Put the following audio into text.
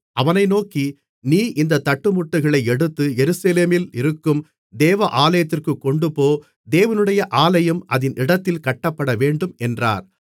அவனை நோக்கி நீ இந்தத் தட்டுமுட்டுகளை எடுத்து எருசலேமில் இருக்கும் தேவாலயத்திற்குக் கொண்டுபோ தேவனுடைய ஆலயம் அதின் இடத்திலே கட்டப்படவேண்டும் என்றார்